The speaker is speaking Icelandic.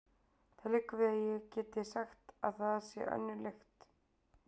Það liggur við að ég geti sagt að þar sé önnur lykt.